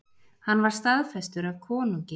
Hann var staðfestur af konungi.